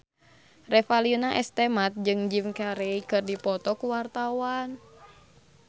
Revalina S. Temat jeung Jim Carey keur dipoto ku wartawan